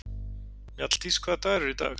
Mjalldís, hvaða dagur er í dag?